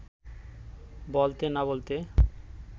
বলতে না-বলতে